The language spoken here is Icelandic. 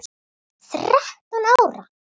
Þrettán ára?